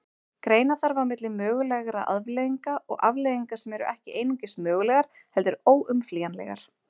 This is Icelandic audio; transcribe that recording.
Greina þarf á milli mögulegra afleiðinga og afleiðinga sem eru ekki einungis mögulegar heldur óumflýjanlegar.